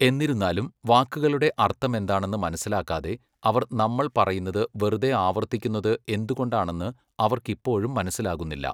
എന്നിരുന്നാലും, വാക്കുകളുടെ അർത്ഥമെന്താണെന്ന് മനസിലാക്കാതെ അവർ നമ്മൾ പറയുന്നത് വെറുതെ ആവർത്തിക്കുന്നത് എന്തുകൊണ്ടാണെന്ന് അവർക്ക് ഇപ്പോഴും മനസ്സിലാകുന്നില്ല.